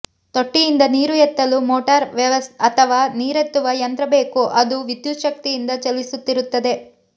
ತೊಟ್ಟಿಯಿಂದ ನೀರು ಎತ್ತಲು ಮೋಟಾರ ಅಥವಾ ನೀರೇತ್ತುವ ಯಂತ್ರ ಬೇಕು ಅದು ವಿದ್ಯುತ್ ಶಕ್ತಿಯಿಂದ ಚಲಿಸುತ್ತಿರುತ್ತದೆ